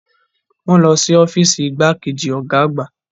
Wọ́n lọ sí ọ́fíìsì igbákejì ọ̀gá àgbà.